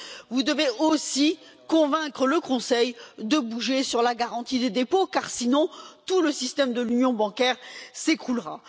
Vous devez aussi convaincre le Conseil de bouger sur la garantie des dépôts, car sinon tout le système de l'union bancaire s'écroulera.